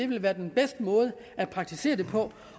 ville være den bedste måde at praktisere det på